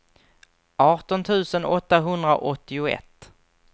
arton tusen åttahundraåttioett